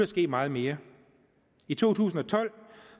ske meget mere i to tusind og tolv